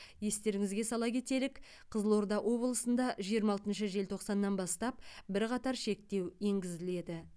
естеріңізге сала кетелік қызылорда облысында жиырма алтыншы желтоқсаннан бастап бірқатар шектеу енгізіледі